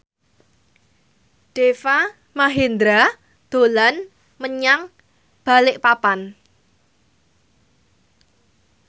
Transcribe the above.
Deva Mahendra dolan menyang Balikpapan